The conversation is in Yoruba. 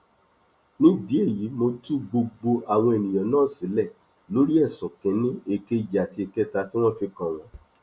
nídìí èyí mo tú gbogbo àwọn èèyàn náà sílẹ lórí ẹsùn kìnínní èkejì àti ìkẹta tí wọn fi kàn wọn